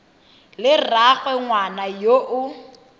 le rraagwe ngwana yo o